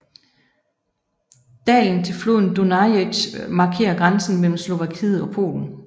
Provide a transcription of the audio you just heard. Dalen til floden Dunajec markerer grænsen mellem Slovakiet og Polen